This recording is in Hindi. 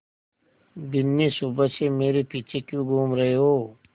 बिन्नी सुबह से मेरे पीछे क्यों घूम रहे हो